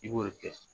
I b'o de kɛ